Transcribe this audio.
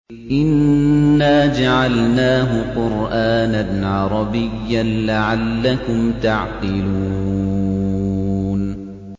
إِنَّا جَعَلْنَاهُ قُرْآنًا عَرَبِيًّا لَّعَلَّكُمْ تَعْقِلُونَ